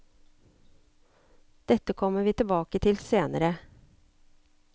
Dette kommer vi tilbake til senere.